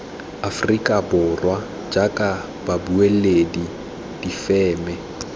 aforika borwa jaaka babueledi difeme